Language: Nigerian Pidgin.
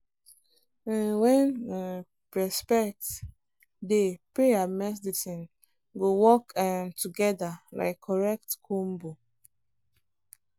um when um respect dey prayer and medicine go work um together like correct combo.